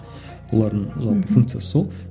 олардың жалпы функциясы сол